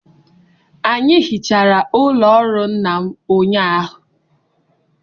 Anyị hichara ụlọ ọrụ nna m ụnyahụ